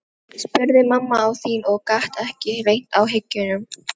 spurði mamma þín og gat ekki leynt áhyggjunum.